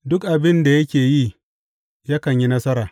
Duk abin da yake yi, yakan yi nasara.